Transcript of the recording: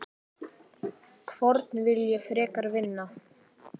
Hvorn vil ég frekar vinna?